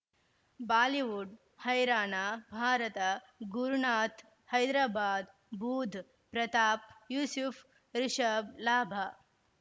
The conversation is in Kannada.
ಬಾಲಿವುಡ್ ಹೈರಾಣ ಭಾರತ ಗುರುನಾಥ್ ಹೈದರಾಬಾದ್ ಬೂಧ್ ಪ್ರತಾಪ್ ಯೂಸುಫ್ ರಿಷಬ್ ಲಾಭ